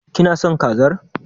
Kina son kazar?